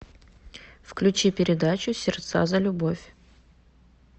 включи передачу сердца за любовь